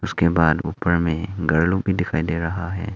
उसके बाद ऊपर में घर लोग भी दिखाई दे रहा है।